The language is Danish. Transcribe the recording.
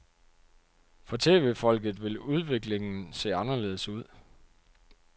For tv-folket vil udviklingen se anderledes ud.